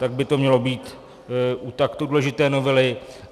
Tak by to mělo být u tak důležité novely.